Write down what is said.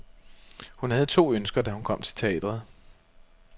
Hun havde to ønsker, da hun kom til teatret.